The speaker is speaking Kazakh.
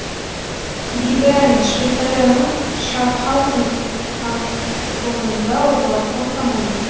биберн швейцарияның шаффхаузен кантонында орналасқан коммуна